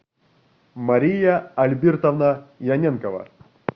мария альбертовна яненкова